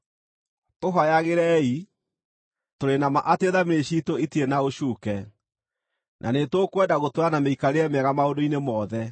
Tũhooyagĩrei. Tũrĩ na ma atĩ thamiri ciitũ itirĩ na ũcuuke, na nĩtũkwenda gũtũũra na mĩikarĩre mĩega maũndũ-inĩ mothe.